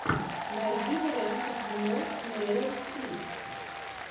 найди варианты кино с мэрил стрип